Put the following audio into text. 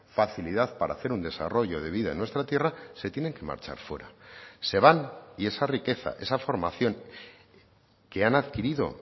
facilidad para hacer un desarrollo de vida en nuestra tierra se tienen que marchar fuera se van y esa riqueza esa formación que han adquirido